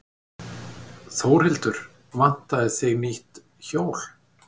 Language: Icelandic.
Þórhildur: Vantaði þig nýtt hjól?